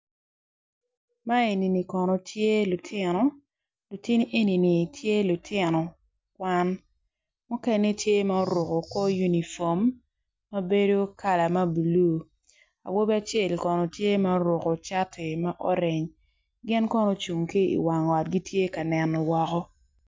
Man eni tye kono lutino, lutini eni kono gitye lutino kwan mukene tye ma oruko unifom ma bedo kala ma bulu awobi acel tye ma oruko cati ma orenge gin kono gucung ki i wang ot gitye kaneno woko.